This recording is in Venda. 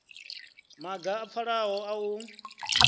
maga a pfalaho a u